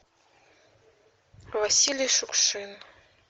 василий шукшин